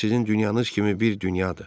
O da sizin dünyanız kimi bir dünyadır.